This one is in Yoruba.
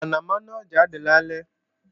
Mọ̀nàmọ́ná ó jade lálẹ́